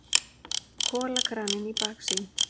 Kolakraninn í baksýn.